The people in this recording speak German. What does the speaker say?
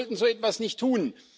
Wir sollten so etwas nicht tun.